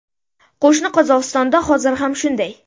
Qo‘shni Qozog‘istonda hozir ham shunday.